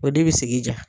O de bi sigi ja